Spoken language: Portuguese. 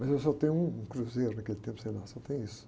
Mas eu só tenho um, um cruzeiro naquele tempo, sei lá, só tenho isso.